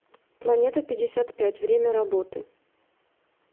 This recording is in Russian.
планетапятьдесятпять время работы